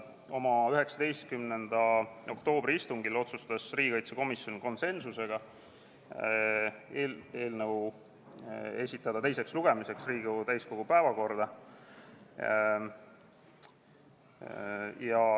Oma 19. oktoobri istungil otsustas riigikaitsekomisjon konsensusega esitada eelnõu teiseks lugemiseks Riigikogu täiskogu päevakorda.